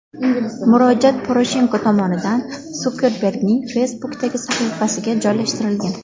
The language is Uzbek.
Murojaat Poroshenko tomonidan Sukerbergning Facebook’dagi sahifasiga joylashtirilgan .